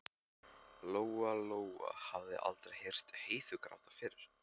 Lóa-Lóa hafði aldrei heyrt Heiðu gráta fyrr.